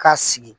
K'a sigi